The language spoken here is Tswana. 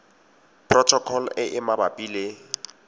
protocol e e mabapi le